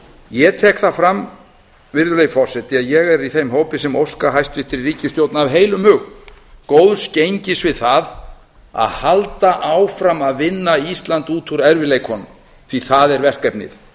ég tek það fram virðulegi forseti að ég er í þeim hópi sem óska hæstvirtri ríkisstjórn af heilum hug góðs gengis við það að halda áfram að vinna ísland út úr erfiðleikunum því að það er verkefnið